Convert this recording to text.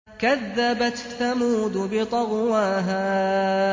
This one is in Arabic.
كَذَّبَتْ ثَمُودُ بِطَغْوَاهَا